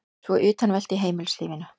Svo utanveltu í heimilislífinu.